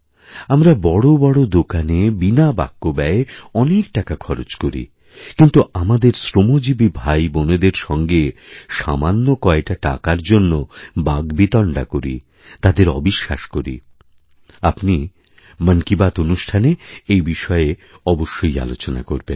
আমরা বড় বড় দোকানে বিনা বাক্যব্যয়ে অনেক টাকা খরচ করি কিন্তু আমাদেরশ্রমজীবী ভাইবোনদের সঙ্গে সামান্য কয়টা টাকার জন্য বাগ্বিতণ্ডা করি তাদেরঅবিশ্বাস করি আপনি মন কি বাত অনুষ্ঠানে এই বিষয়ে অবশ্যই আলোচনা করবেন